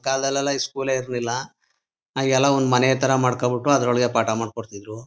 ಕಾಲ್ದಲ್ ಎಲ್ಲ ಈ ಸ್ಕೂಲ್ ಏ ಇರ್ಲಿಲ್ಲ ಆಗೆಲ್ಲ ಒಂದ್ ಮನೆ ಥರ ಮಾಡ್ಕೊಬಿಟು ಆದ್ರು ಒಳಗೆ ಪಾಠ ಮಾಡ್ ಕೊಡ್ಡ್ತಿದ್ರು